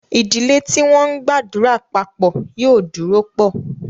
Ìdílé tí wọ́n ńgbàdúrà papọ̀ yóò dúró pọ̀